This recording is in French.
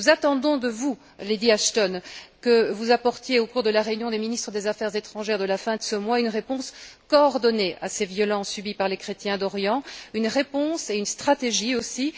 Nous attendons de vous, Lady Ashton, que vous apportiez, au cours de la réunion des ministres des affaires étrangères de la fin de ce mois, une réponse coordonnée à ces violences subies par les chrétiens d'Orient, une réponse et une stratégie aussi.